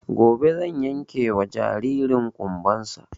Gobe zan yanke wa jaririn ƙumban sa